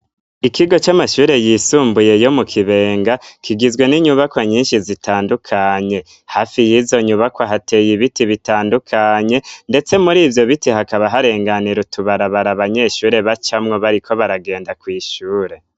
Ikigo c'amashure yisumbuye yo mu kibenga kigizwe n'inyubakwa nyinshi zitandukanye hafi y'izo nyubako hateye ibiti bitandukanye ndetse muri ivyo bite hakaba harenganira utubarabara banyeshure bacamwo bariko baragenda kw'ishure.